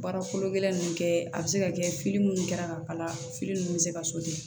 Baara kolo gɛlɛn ninnu kɛ a bɛ se ka kɛ minnu kɛra ka kala fili ninnu bɛ se ka